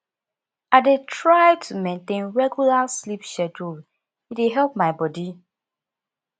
i dey try to maintain regular sleep schedule e dey help my body